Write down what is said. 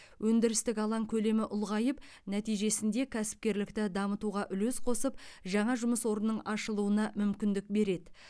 өндірістік алаң көлемі ұлғайып нәтижесінде кәсіпкерлікті дамытуға үлес қосып жаңа жұмыс орнының ашылуына мүмкіндік береді